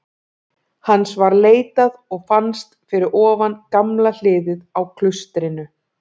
Hans var leitað og fannst fyrir ofan gamla hliðið á klaustrinu.